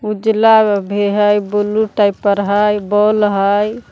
उजला भी हई ब्लू टाइप पर हई बॉल हई।